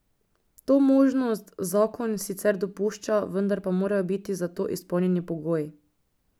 To možnost zakon sicer dopušča, vendar pa morajo biti za to izpolnjeni pogoji.